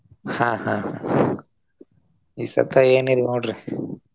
ಹಾ ಹಾ ಹಾ ಈ ಸರ್ತ ಏನಿಲ್ಲ ನೋಡ್ರಿ.